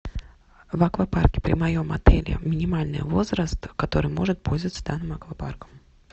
в аквапарке при моем отеле минимальный возраст который может пользоваться данным аквапарком